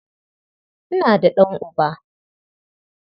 Ina da ɗan'uba.